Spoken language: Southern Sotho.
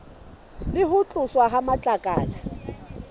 le ho tloswa ha matlakala